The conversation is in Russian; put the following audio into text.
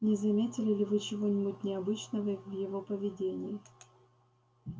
не заметили ли вы чего-нибудь необычного в его поведении